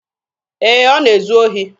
Ee, ọ na-ezu ohi.